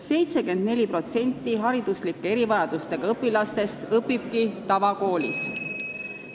74% hariduslike erivajadustega õpilastest õpibki tavakoolis.